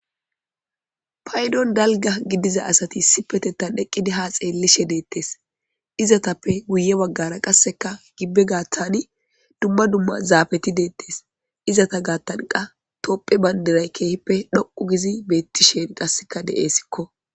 Paydon dalga gidiza asati sipetetan dheqqidi ha xeellishe deettes izatappe guye waggara qasseka gibbe gaattani dumma dumma zaabeti deettes izata gaattanqa topphe bayndiray keehippe dhoqu gizi beettisheen qasseka deeesikko.